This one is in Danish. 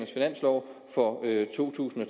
finansloven for to tusind og